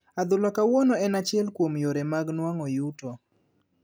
Adhula kawuono en achiel kuom yore mag nwang'o yuto.